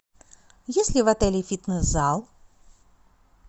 есть ли в отеле фитнес зал